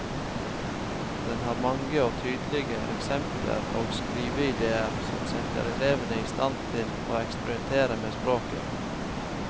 Den har mange og tydelige eksempler og skriveidéer som setter elevene i stand til å eksperimentere med språket.